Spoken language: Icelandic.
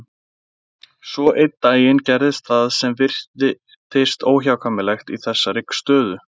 Svo einn daginn gerðist það sem virtist óhjákvæmilegt í þessari stöðu.